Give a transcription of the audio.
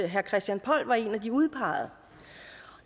herre christian poll var en af de udpegede